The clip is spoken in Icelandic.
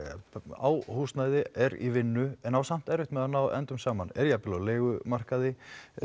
á húsnæði er í vinnu en á samt erfitt með að ná endum saman er jafnvel á leigumarkaði